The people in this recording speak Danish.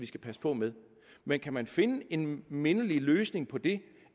skal passe på med men kan man finde en mindelig løsning på det